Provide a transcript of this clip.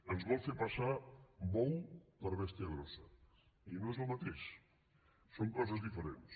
ens vol fer passar bou per bèstia grossa i no és el mateix són coses diferents